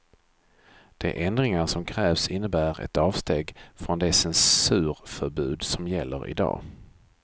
De ändringar som krävs innebär ett avsteg från det censurförbud som gäller i dag.